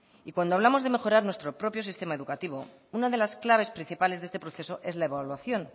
y cuando hablamos de mejorar nuestro propio sistema educativo una de las claves principales de este proceso es la evaluación